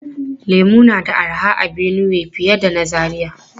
Lemu na da arha a Benue fiye da na Zaria.